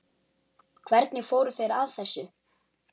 Hvernig fóru þeir að þessu?